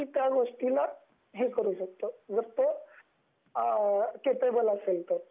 कोणी त्या गोष्टीला हे करू शकतो जर तो कैपेबल असेल तर